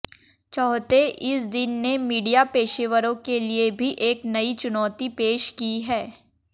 चौथे इस दिन ने मीडिया पेशेवरों के लिए भी एक नई चुनौती पेश की